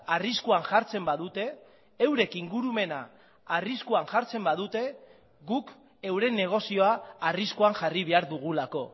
arriskuan jartzen badute eurek ingurumena arriskuan jartzen badute guk euren negozioa arriskuan jarri behar dugulako